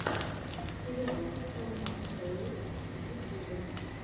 сериал элмаксэл лук в ютюбе